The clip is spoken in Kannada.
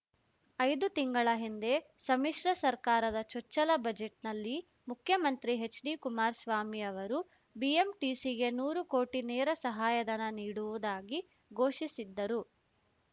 ಐದು ತಿಂಗಳ ಹಿಂದೆ ಸಮ್ಮಿಶ್ರ ಸರ್ಕಾರದ ಚೊಚ್ಚಲ ಬಜೆಟ್‌ನಲ್ಲಿ ಮುಖ್ಯಮಂತ್ರಿ ಹೆಚ್‌ಡಿಕುಮಾರಸ್ವಾಮಿ ಅವರು ಬಿಎಂಟಿಸಿಗೆ ನೂರು ಕೋಟಿ ನೇರ ಸಹಾಯಧನ ನೀಡುವುದಾಗಿ ಘೋಷಿಸಿದ್ದರು